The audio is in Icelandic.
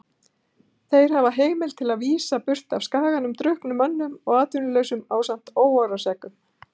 Þeir hafa heimild til að vísa burt af skaganum drukknum mönnum og atvinnulausum ásamt óróaseggjum.